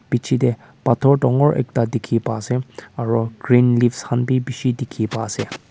pichete pathor dangor ekta dikhi pai ase aro green leaves khan bi bishi dikhi pai ase.